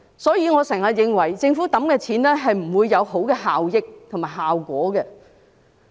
因此，我經常認為政府投放的金錢不會達致良好效益和效果。